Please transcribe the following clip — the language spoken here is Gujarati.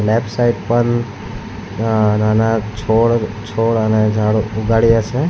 લેફ્ટ સાઈડ પર નાના છોડ છોડ અને ઝાડ ઉગાડ્યા છે.